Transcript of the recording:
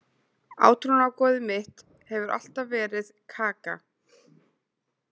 Átrúnaðargoðið mitt hefur alltaf verið Kaka.